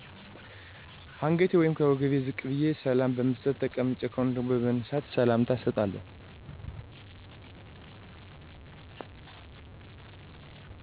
ከአንገቴ ወይም ከወገቤ ዝቅ በዬ ሰላምታ በመስጠት። ተቀምጬ ከሆነ ደግሞ በመነሳት ሰላምታ እሰጣለሁ